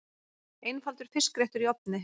Einfaldur fiskréttur í ofni